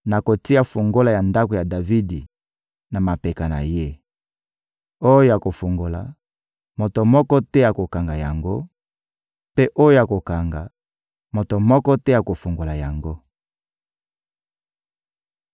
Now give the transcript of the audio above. Nakotia fungola ya ndako ya Davidi na mapeka na ye: oyo akofungola, moto moko te akokanga yango; mpe oyo akokanga, moto moko te akofungola yango.